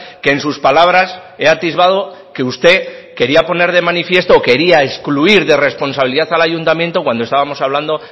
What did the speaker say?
que en sus palabras he atisbado que usted quería poner de manifiesto o quería excluir de responsabilidad al ayuntamiento cuando estábamos hablando